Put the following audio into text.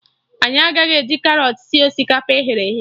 Anyị agaghị eji karọt sie osikapa e ghere eghe